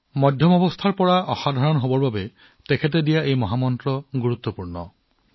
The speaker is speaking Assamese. বন্ধুসকল তেওঁ গড়ৰ পৰা অসাধাৰণ হবলৈ দিয়া মন্ত্ৰটোও সমানে গুৰুত্বপূৰ্ণ